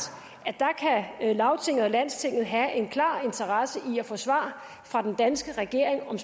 at lagtinget og landstinget kan have en klar interesse i at få svar fra den danske regering om